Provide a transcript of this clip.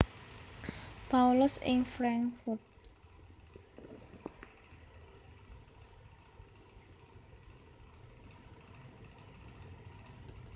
Paulus ing Frankfurt